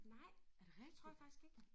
Nej det tror jeg faktisk ikke